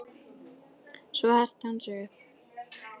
Svo herti hann sig upp.